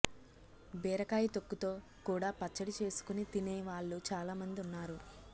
బీరకాయ తొక్కు తో కూడా పచ్చడి చేసుకుని తినే వాళ్ళు చాలామంది ఉన్నారు